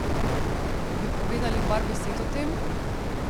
Bi povedali par besed o tem?